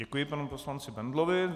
Děkuji panu poslanci Bendlovi.